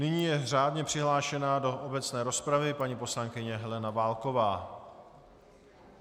Nyní je řádně přihlášena do obecné rozpravy paní poslankyně Helena Válková.